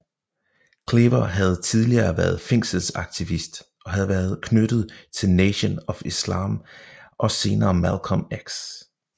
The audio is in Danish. Cleaver havde tidligere været fængselsaktivist og havde været knyttet til Nation of Islam og senere Malcolm X